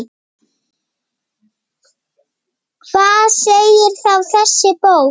Hvað segir þá þessi bók?